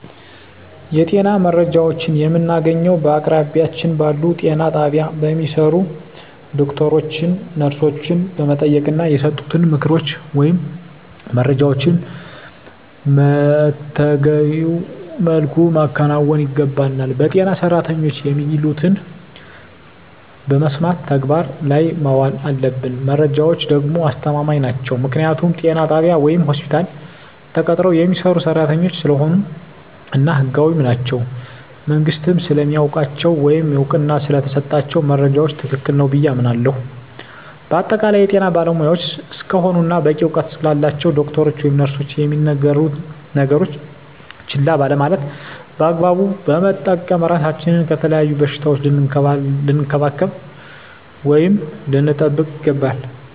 የጤና መረጃዎችን የምናገኘዉ በአቅራቢያችን ባሉ ጤና ጣቢያ በሚሰሩ ዶክተሮችን ነርሶችን በመጠየቅና የሰጡንን ምክሮች ወይም መረጃዎችን መተገቢዉ መልኩ ማከናወን ይገባናል በጤና ሰራተኖች የሚሉትን በመስማት ተግባር ላይ ማዋል አለብን መረጃዎች ደግሞ አስተማማኝ ናቸዉ ምክንያቱም ጤና ጣቢያ ወይም ሆስፒታል ተቀጥረዉ የሚሰሩ ሰራተኞች ስለሆኑ እና ህጋዊም ናቸዉ መንግስትም ስለሚያዉቃቸዉ ወይም እዉቅና ስለተሰጣቸዉ መረጃዉ ትክክል ነዉ ብየ አምናለሁ በአጠቃላይ የጤና ባለሞያዎች እስከሆኑና በቂ እዉቀት ስላላቸዉ ዶክተሮች ወይም ነርሶች የሚነግሩነን ነገሮች ችላ ባለማለት በአግባቡ በመጠቀም ራሳችንን ከተለያዩ በሽታዎች ልንከላከል ወይም ልንጠብቅ ይገባል